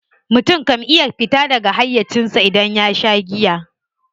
Mutum kan iya fita daga hayyacinsa idan ya sha giya.